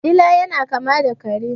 Dila yana kama da kare.